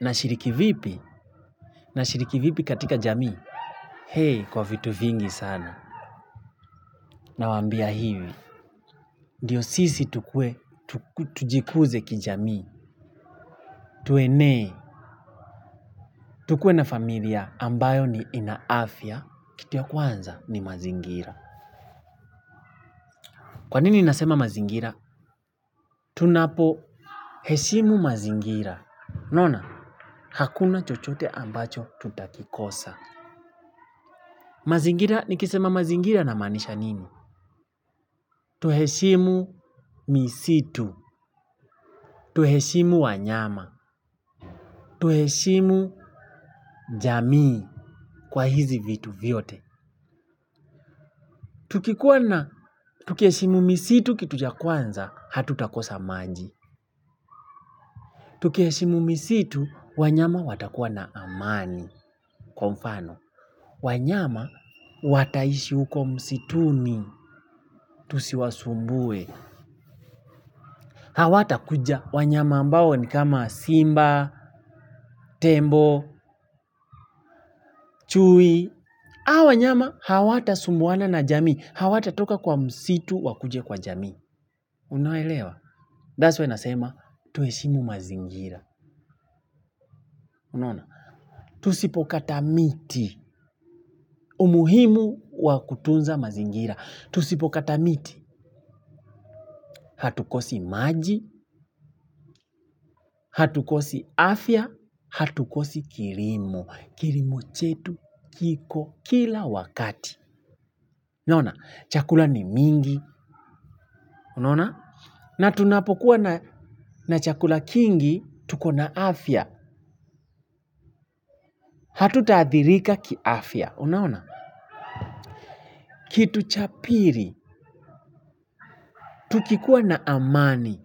Nashiriki vipi? Nashiriki vipi katika jamii? Hei kwa vitu vingi sana. Nawaambia hivi. Ndio sisi tukue, tujikuze kijamii. Tuenee, tukue na familia ambayo ni ina afya. Kitu ya kwanza ni mazingira. Kwa nini nasema mazingira? Tunapoheshimu mazingira. Unaona hakuna chochote ambacho tutakikosa. Mazingira nikisema mazingira namaanisha nimi? Tuheshimu misitu. Tuheshimu wanyama. Tuheshimu jamii kwa hizi vitu vyote. Tukikuwa na tukiheshimu misitu kitu ya kwanza, hatutakosa maji. Tukiheshimu misitu, wanyama watakuwa na amani, kwa mfano. Wanyama, wataishi huko msituni, tusiwasumbue. Hawatakuja wanyama ambao ni kama simba, tembo, chui. Hawa wanyama hawatasumbuana na jamii. Hawatatoka kwa msitu wakuje kwa jamii. Unaelewa? That's why nasema tuheshimu mazingira. Unaona? Tusipokata miti umuhimu wa kutunza mazingira tusipokata miti Hatukosi maji Hatukosi afya Hatukosi kilimo. Kilimo chetu, kiko kila wakati. Unaona? Chakula ni mingi. Unaona na tunapokuwa na chakula kingi tuko na afya. Hatutaathirika kiafya. Unaona? Kitu cha pili, tukikuwa na amani.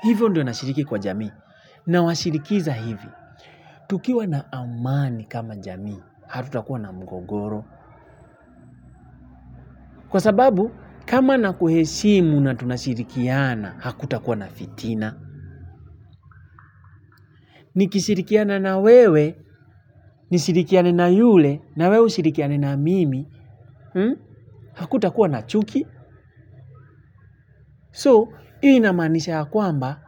Hivyo ndio nashiriki kwa jamii. Nawashirikiza hivi. Tukiwa na amani kama jamii. Hatutakuwa na mgogoro. Kwa sababu, kama nakuheshimu na tunashirikiana, hakutakuwa na fitina. Nikishirikiana na wewe, nishirikiane na yule na wewe ushirikiane na mimi, hakutakua na chuki, so hii inamaanisha ya kwamba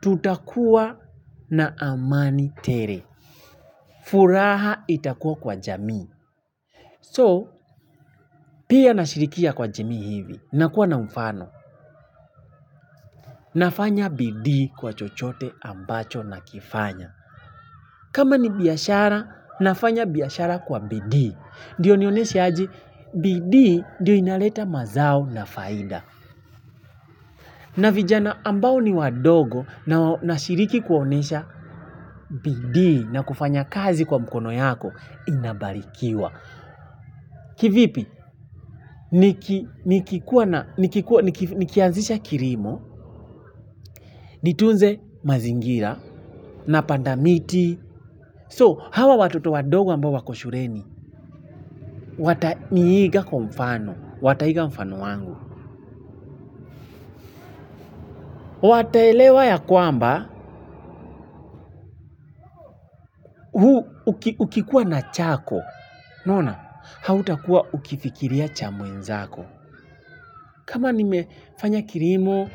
tutakuwa na amani tele. Furaha itakuwa kwa jamii, so pia nashirikia kwa jamii hivi, nakuwa na mfano, nafanya bidii kwa chochote ambacho nakifanya. Kama ni biashara, nafanya biashara kwa bidii. Ndo nionyeshe aje bidii ndio inaleta mazao na faida. Na vijana ambao ni wadogo na nashiriki kuwaonyesha bidii na kufanya kazi kwa mkono yako inabarikiwa. Kivipi nikikuwa na, nikianzisha kilimo nitunze mazingira napanda miti So, hawa watoto wadogo ambao wako shuleni, wataniiga kwa mfano, wataiga mfano wangu. Wataelewa ya kwamba ukikuwa na chako, unaona, hautakuwa ukifikiria cha mwenzako. Kama nimefanya kilimo,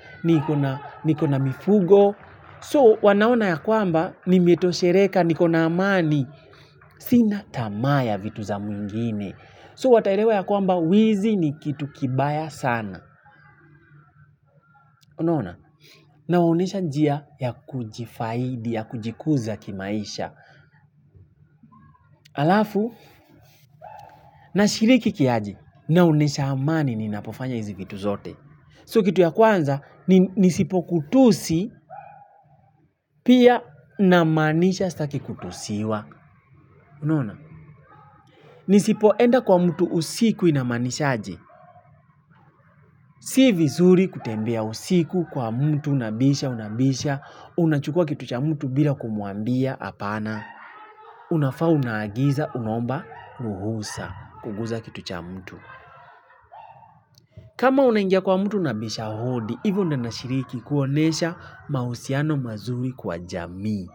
niko na mifugo, so wanaona ya kwamba nimetosheleka, niko na amani, sina tamaa ya vitu za mwingine. So wataelewa ya kwamba wizi ni kitu kibaya sana. Unaona, nawaonyesha njia ya kujifaidi, ya kujikuza kimaisha. Halafu, nashiriki kiaji, naonyesha amani ninapofanya hizi vitu zote. So kitu ya kwanza, nisipokutusi, pia namaanisha sitaki kutusiwa. Unaona, nisipoenda kwa mtu usiku inamaanisha aje. Si vizuri kutembea usiku kwa mtu unabisha unabisha unachukua kitu cha mtu bila kumwambia hapana. Unafaa unaagiza unaomba ruhusa kuguza kitu cha mtu. Kama unaingia kwa mtu unabisha hodi hivyo ndo unashiriki kuonyesha mahusiano mazuri kwa jamii.